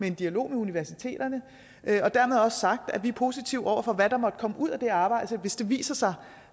en dialog med universiteterne dermed også sagt at vi er positive over for hvad der måtte komme ud af det arbejde hvis det viser sig